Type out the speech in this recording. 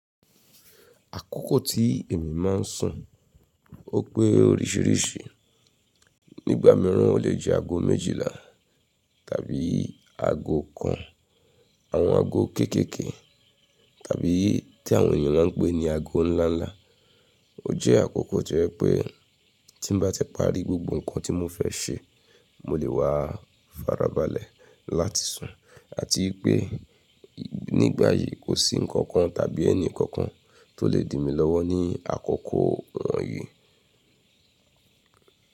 Àkókò tí èmi máa ń sùn, ó pé oríṣìíríṣìí. Nígbà mìíràn o lè jẹ́ aago méjìlá tàbí aago kan, àwọn aago kéékèèké tàbí tí àwọn ènìyàn máa ń pè ní aago ńláńlá. O jẹ́ àkókò tí ẹ pé tí n bá tẹpá rí gbogbo nǹkan tí mo fẹ́ ṣe, mo lè wà farabalẹ̀ láti sùn àti pé nígbà yìí kò sí nǹkan kan tàbí ẹni kankan tó lè dìmi lọ́wọ́ ní àkókò wọ̀nyí.